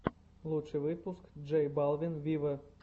лучший выпуск джей балвин виво